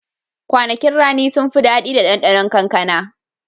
Kwanakin rani sun fi daɗi da ɗanɗanon kankana.